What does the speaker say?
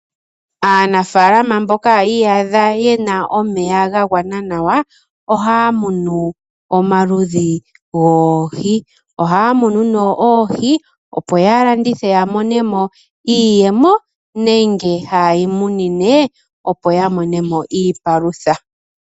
Aanafalama mboka yi iyadha yena omeya ga gwana nawa ohaya munu omaludhi goohi. Ohaya munu nee oohi opo ya landithe ya mone mo iiyemo nenge haye dhi munine opo ya mone mo iipalutha.